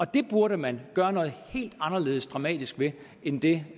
det burde man gøre noget helt anderledes dramatisk ved end det